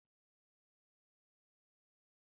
M ga-egbochi gị na Twita!